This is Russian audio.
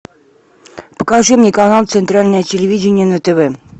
покажи мне канал центральное телевидение на тв